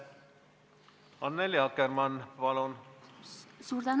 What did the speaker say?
Annely Akkermann, palun!